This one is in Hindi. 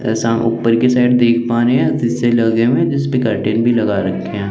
असा उपर की साइड देख पारे है सीसे लगे हुए जिसपे कर्टेन भी लगा रखे है।